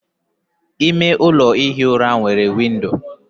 ime ụlọ ihi ụra nwere windo